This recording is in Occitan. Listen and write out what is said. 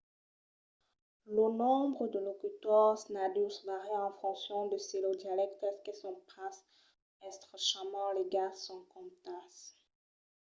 lo nombre de locutors nadius vària en foncion de se los dialèctes que son pas estrechament ligats son comptats